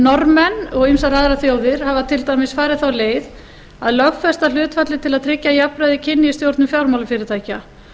norðmenn og ýmsar aðrar þjóðir hafa til dæmis farið þá leið að lögfesta hlutfallið til að tryggja jafnræði kynja í stjórnun fjármálafyrirtækja